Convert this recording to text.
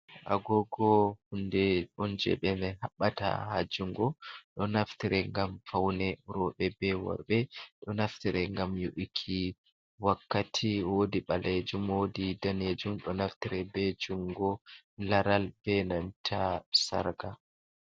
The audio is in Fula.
Agogo hunɗe on jebe me habbata ha jungo. Ɗo naftire ngam faune robe be worbe ɗo naftire ngam yu'iki wakkati. woɗi balejum woɗi nɗanejum ɗo naftire be jungo laral, be nanta sarka.